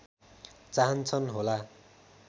चाहन्छन् होला